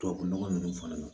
Tubabu nɔgɔ ninnu fana na